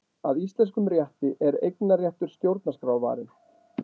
Að íslenskum rétti er eignarréttur stjórnarskrárvarinn